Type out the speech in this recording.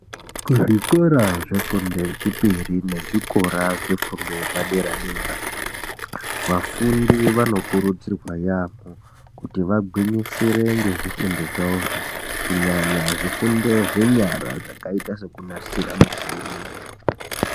Zvikora zvefundo yechipiri nezvikora zvefundo yepadera dera, vafundi vanokurudzirwa yaampho kuti vagwinyisire ngezvifundo zvavozvo kunyanya zvifundo zvenyara zvakaita sekunasira michini.